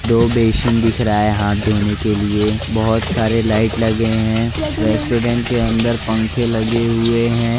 दो बेसीन दिख रहा है हाथ धोने के लिए बहोत सारे लाइट लगे हैं रेस्टोरेंट के अंदर पंखे लगे हुए हैं।